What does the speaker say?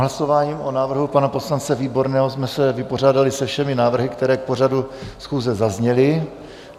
Hlasováním o návrhu pana poslance Výborného jsme se vypořádali se všemi návrhy, které k pořadu schůze zazněly.